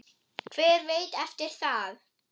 Hver veit eftir það?